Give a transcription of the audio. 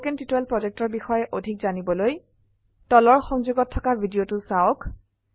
spoken tutorial projectৰ বিষয়ে অধিক জানিবলৈ তলৰ সংযোগত থকা ভিডিঅ চাওক